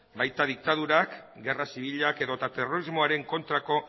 baita diktadurak gerra zibilak edota terrorismoaren kontrako